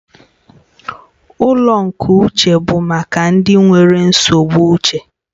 Ụlọ nke uche bụ maka ndị nwere nsogbu uche